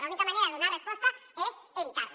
l’única manera de donar resposta és evitar les